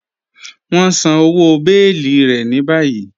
Wọn n sán ọwọ́ bèẹ̀lí rẹ̀ ní bàyìí.